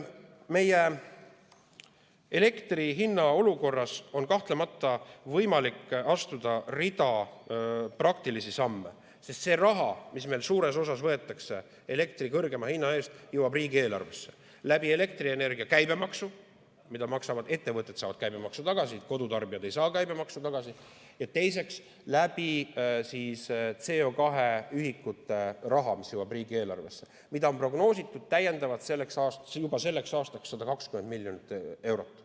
Elektri hinna tekitatud olukorras on kahtlemata võimalik astuda rida praktilisi samme, sest see raha, mis meil suures osas võetakse elektri kõrgema hinna eest, jõuab riigieelarvesse elektrienergia käibemaksu kujul ja teiseks CO2 ühikute rahana, mida on selleks aastaks täiendavalt prognoositud juba 120 miljonit eurot.